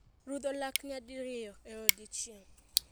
Rudho lak nyadi riyo e odiechieng.